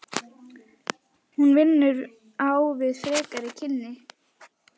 Hún vinnur á við frekari kynni.